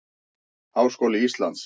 Háskóli Íslands.